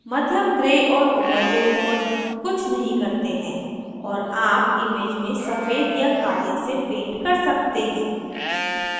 मध्यम gray और overlay mode कुछ नहीं करते हैं और आप image में सफ़ेद या काले से paint कर सकते हैं